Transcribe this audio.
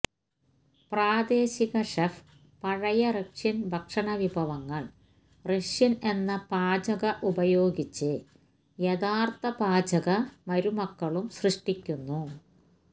പ്രാദേശിക ഷെഫ് പഴയ റഷ്യൻ ഭക്ഷണവിഭവങ്ങൾ റഷ്യൻ എന്ന പാചക ഉപയോഗിച്ച് യഥാർത്ഥ പാചക മരുമക്കളും സൃഷ്ടിക്കുന്നു